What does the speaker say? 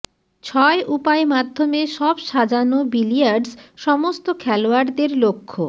ছয় উপায় মাধ্যমে সব সাজানো বিলিয়ার্ডস সমস্ত খেলোয়াড়দের লক্ষ্য